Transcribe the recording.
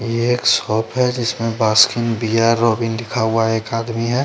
ये एक शॉप है जिसमे बास्किंग बिअर रोबिन लिखा हुआ एक आदमी है।